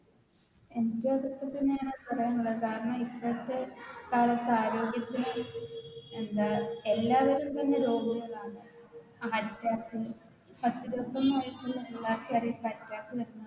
എനിക്കു അതൊക്കെ തന്നെയാണ് പറയാനുള്ളത് കാരണം ഇപ്പളത്തെ കാലത്തേ ആരോഗ്യത്തിന് എന്താ എല്ലാ വിധജന്യ രോഗങ്ങളാണ് Attack സസ്യബുക്കുമായിട്ടുള്ള എല്ലാത്തവരും ഇപ്പൊ Attack വരുന്നത്